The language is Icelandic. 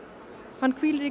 hann hvílir í